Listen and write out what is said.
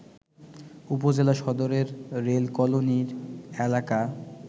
উপজেলা সদরের rail colony এলাকা